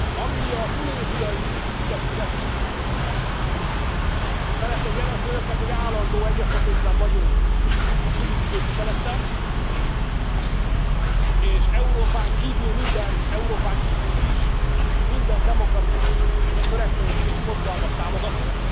Ami a tunéziai ügyet illeti, szeretném jelezni önöknek, hogy állandó egyeztetésben vagyunk a külügyi képviselettel, és Európán kívül is minden demokratikus törekvést és mozgalmat támogatunk,